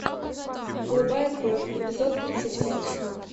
голубая кровь эпизод тридцать пять